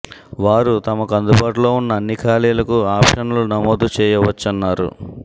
వారు తమకు అందుబాటులో ఉన్న అన్ని ఖాళీలకు ఆప్షన్లు నమోదు చేయవచ్చన్నారు